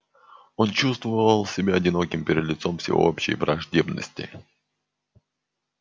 он чувствовал себя одиноким перед лицом всеобщей враждебности